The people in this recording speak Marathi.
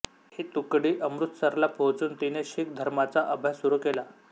ही तुकडी अमृतसरला पोहचून तिने शीख धर्माचा अभ्यास सुरू केला